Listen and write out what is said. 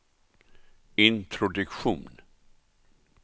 introduktion